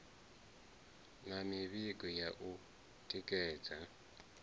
na mivhigo ya u tikedza